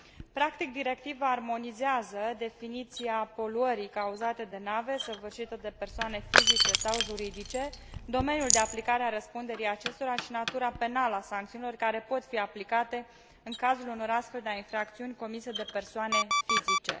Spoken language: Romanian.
Practic, Directiva armonizează definiția poluării cauzate de nave, săvârșită de persoane fizice sau juridice, domeniul de aplicare a răspunderii acesteia și natura penală a sancțiunilor care pot fi aplicate în cazul unor astfel de infracțiuni comise de persoane fizice.